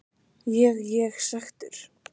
Ég ég svekktur?